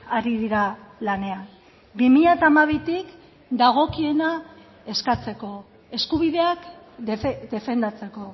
ari dira lanean bi mila hamabitik dagokiena eskatzeko eskubideak defendatzeko